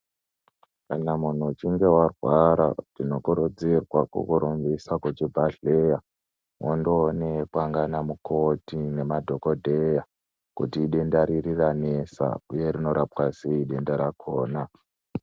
Kana munhu uchinge warwara, tinokurudzira kukurumbisa kuchibhadhleya, undoonekwa ngeanamukoti nemadhokodheya kuti idenda riri ranesa, uye rinorapwa sei denda rakhona.